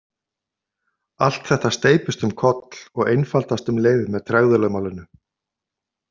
Allt þetta steypist um koll og einfaldast um leið með tregðulögmálinu.